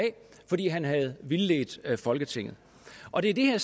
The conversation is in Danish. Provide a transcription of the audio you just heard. fordi han havde vildledt folketinget og det er